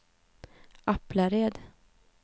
Aplared